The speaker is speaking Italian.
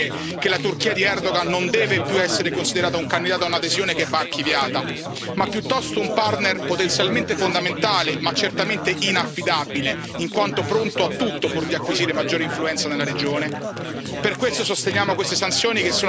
Quanti dibattiti servono ancora per capire che la Turchia di Erdogan non deve più essere considerata un candidato a un'adesione che va archiviata, ma piuttosto un partner potenzialmente fondamentale, ma certamente inaffidabile in quanto pronto a tutto pur di acquisire maggiore influenza nella regione?